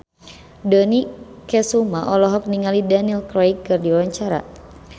Dony Kesuma olohok ningali Daniel Craig keur diwawancara